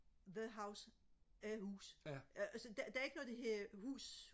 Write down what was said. the house øh hus øh altså der der er ikke noget der hedder hus